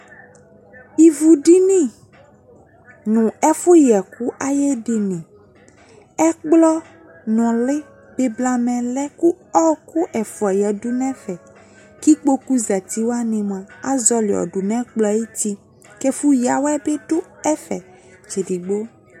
Ivudini no ɛfu yɛkiu aye dini Ɔkplɔ nule de blamɛ lɛ, ko ɔku ɛfua yadu no ɛfɛ, ko ikpoku zati wane moa, azɔle yɔdu no ɛkpɔɛ ayuti, ko ɛfo yiawɛ be do ɛfɛ tsɛdigbo